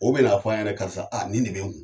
O bɛn'a fɔ a ɲɛna karisa ni de bɛ n kun.